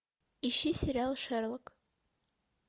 ищи сериал шерлок